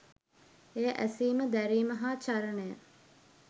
එය ඇසීම දැරීම හා චරණය